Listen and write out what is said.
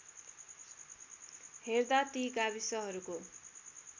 हेर्दा ती गाविसहरूको